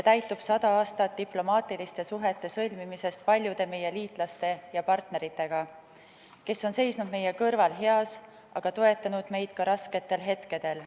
Täitub 100 aastat diplomaatiliste suhete sõlmimisest paljude meie liitlaste ja partneritega, kes on seisnud meie kõrval heas, aga toetanud meid ka rasketel hetkedel.